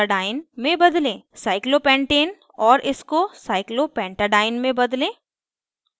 cyclopentane cyclopentane और इसको cyclopentadiene cyclopentadiene में बदलें